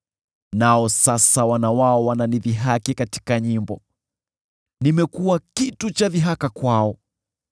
“Nao sasa wana wao wananidhihaki katika nyimbo; nimekuwa kitu cha dhihaka kwao.